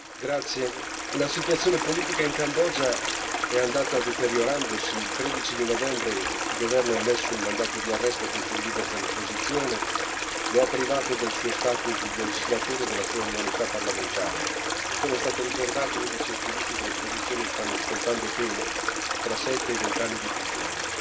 Signor Presidente, onorevoli colleghi, la situazione politica in Cambogia è andata deteriorandosi. Il 13 novembre il governo ha emesso un mandato di arresto contro il leader dell'opposizione, lo ha privato del suo status di legislatore e della sua immunità parlamentare e, come è stato ricordato, 11 attivisti dell'opposizione stanno scontando pene tra 7 e i 20 anni di prigione.